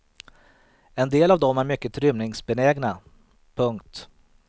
En del av dem är mycket rymningsbenägna. punkt